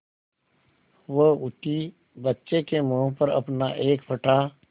वह उठी बच्चे के मुँह पर अपना एक फटा